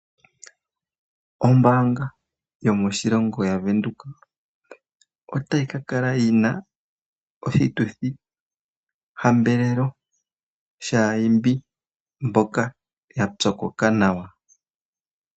Ombaanga yomoshilongo yaVenduka otayi ka kala yi na oshituthihambelelo shaa imbi mboka ya pyokoka nawa.